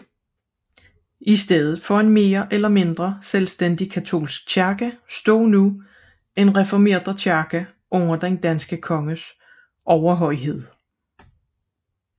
I stedet for en mere eller mindre selvstændig katolsk kirke stod nu en reformert kirke under den danske konges overhøjhed